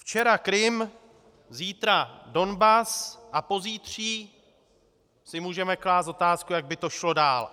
Včera Krym, zítra Donbas a pozítří si můžeme klást otázku, jak by to šlo dál.